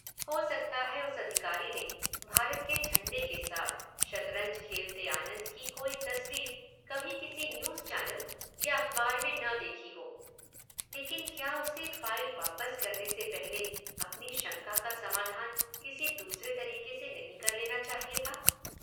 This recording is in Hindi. हो सकता है उस अधिकारी ने भारत के झंडे के साथ शतरंज खेलते आनंद की कोई तस्वीर कभी किसी न्यूज चैनल या अखबार में न देखी हो लेकिन क्या उसे फाइल वापस करने से पहले अपनी शंका का समाधान किसी दूसरे तरीके से नहीं कर लेना चाहिए था?